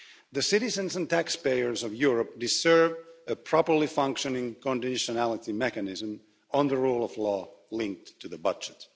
The citizens and taxpayers of Europe deserve a properly functioning conditionality mechanism on the rule of law, linked to the budget.